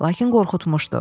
Lakin qorxutmuşdu.